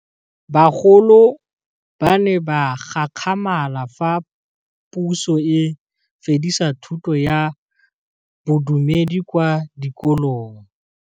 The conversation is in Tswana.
Bagolo ba ne ba gakgamala fa Pusô e fedisa thutô ya Bodumedi kwa dikolong.